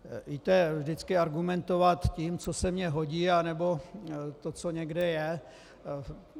Víte, vždycky argumentovat tím, co se mně hodí, nebo to, co někde je...